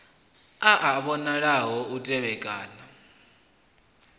a a vhonala u tevhekana